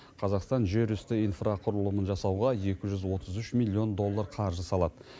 қазақстан жерүсті инфрақұрылымын жасауға екі жүз отыз үш миллион доллар қаржы салады